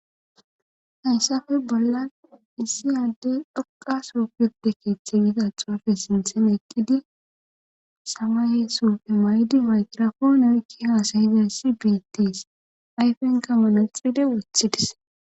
Hayssafe bollan issi yadde dhoqa soopede keeththe yida xoafe sinthen eqqidi sawayee sopfe may7di maykrafoone oykki haasayide si biettes ayfenkamole xide wuthidis